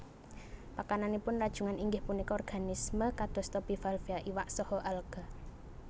Pakananipun rajungan inggih punika organisme kadosta bivalvia iwak saha alga